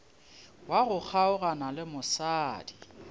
wa go kgaogana le mosadi